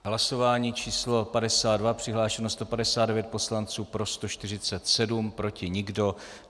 Hlasování číslo 52, přihlášeno 159 poslanců, pro 147, proti nikdo.